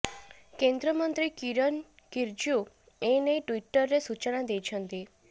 କେନ୍ଦ୍ରମନ୍ତ୍ରୀ କିରନ ରିଜଜୁ ଏ ନେଇ ଟୁଇଟରରେ ସୂଚନା ଦେଇଛନ୍ତି